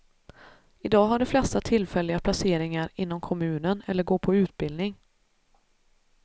Idag har de flesta tillfälliga placeringar inom kommunen eller går på utbildning.